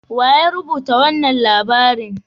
Wa ya rubuta wanan labarin?